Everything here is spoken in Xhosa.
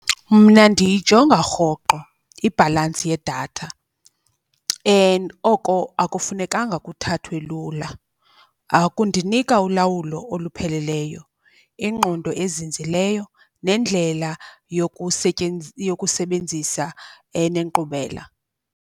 Mna ndiyijonga rhoqo ibhalansi yedatha, and oko akufunekanga kuthathwe lula. Kundinika ulawulo olupheleleyo, ingqondo ezinzileyo nendlela yokusebenzisa enenkqubela.